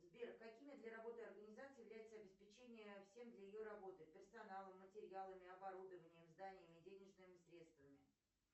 сбер какими для работы организации является обеспечение всем для ее работы персоналом материалами оборудованием зданиями денежными средствами